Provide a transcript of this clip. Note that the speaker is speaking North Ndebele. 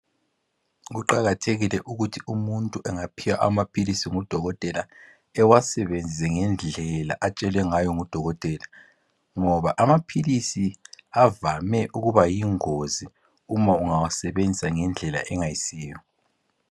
Kuqakathekile ukuthi umuntu angaphiwa amaphilisi ngudokotela ewasebenzise ngendlela atshelwe ngayo ngudokotela ngoba amaphilisi avame ukuba yingozi uma angawasebenziswa ngendlela engasiyo.